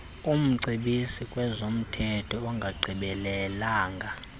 umcebisi kwezomthetho ongagqibelelanga